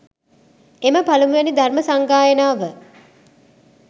එම පළමුවැනි ධර්ම සංගායනාව